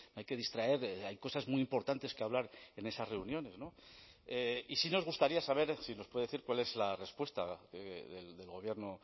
hay que distraer hay cosas muy importantes que hablar en esas reuniones no y sí nos gustaría saber si nos puede decir cuál es la respuesta del gobierno